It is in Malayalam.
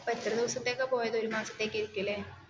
അപ്പോൾ എത്ര ദിവസത്തേക്കാ പോയത് ഒരു മാസത്തേക്കു ആയിരിക്കും അല്ലേ